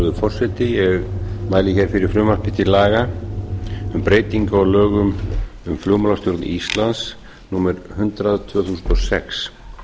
virðulegi forseti ég mæli hér fyrir frumvarpi til laga um um breytingu á lögum um flugmálastjórn íslands númer hundrað tvö þúsund og sex